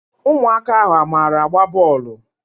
Ụmụaka ahụ a mara agba bọọlụ?